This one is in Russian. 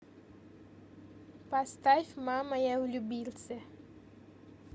поставь мама я влюбился